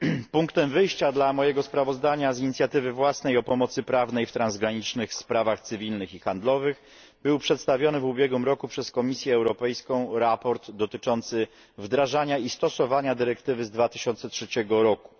Punktem wyjścia dla mojego sprawozdania z inicjatywy własnej o pomocy prawnej w transgranicznych sprawach cywilnych i handlowych było przedstawione w ubiegłym roku przez Komisję Europejską sprawozdanie dotyczące wdrażania i stosowanie dyrektywy z 2003 roku.